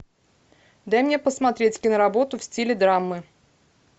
дай мне посмотреть киноработу в стиле драмы